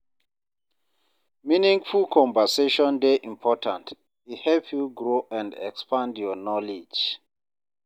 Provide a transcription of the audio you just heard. Meaningful conversation dey important; e help you grow and expand your knowledge.